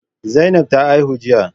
Zainab ta haihu jiya.